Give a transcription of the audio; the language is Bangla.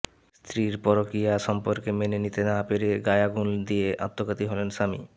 স্ত্রীর পরক্রিয়া সম্পর্ক মেনে নিতে না পেরে গায়ে আগুন দিয়ে আত্মঘাতী হলেন স্বামী